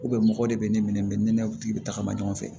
mɔgɔ de be ne minɛ ne notigi be tagama ɲɔgɔn fɛ